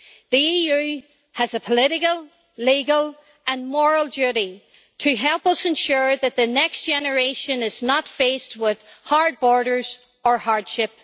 The EU has a political, legal, and moral duty to help us ensure that the next generation is not faced with hard borders or hardship.